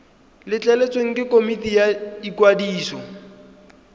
letleletswe ke komiti ya ikwadiso